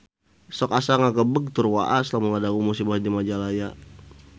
Sok asa ngagebeg tur waas lamun ngadangu musibah di Majalaya